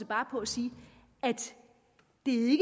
bare på at sige at